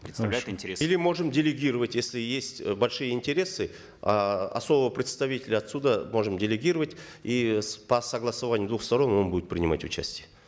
представлять интересы или можем делегировать если есть э большие интересы э особого представителя отсюда можем делегировать и по согласованию двух сторон он будет принимать участие